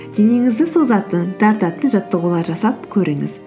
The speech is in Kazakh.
денеңізді созатын тартатын жаттығулар жасап көріңіз